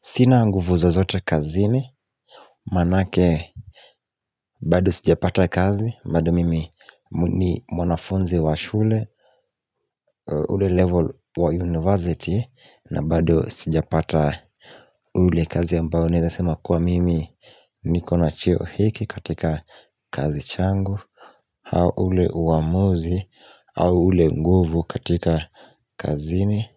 Sina nguvu zozote kazini Maanake bado sijapata kazi, bado mimi ni mwanafunzi wa shule ule level wa university na bado sijapata ule kazi ambao naeza sema kuwa mimi nikona cheo hiki katika kazi changu au ule uamuzi au ule nguvu katika kazini